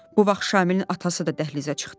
Bu vaxt Şamilin atası da dəhlizə çıxdı.